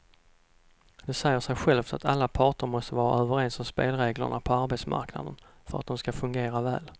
Det säger sig självt att alla parter måste vara överens om spelreglerna på arbetsmarknaden för att de ska fungera väl.